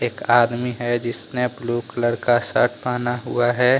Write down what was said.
एक आदमी है जिसने ब्लू कलर का शर्ट पहना हुआ है।